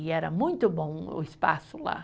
E era muito bom o espaço lá.